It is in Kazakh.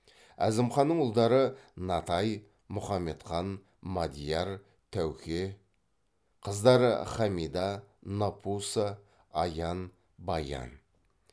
әзімханның ұлдары натай мұхамедхан мадияр тәуке қыздары хамида напуса аян баян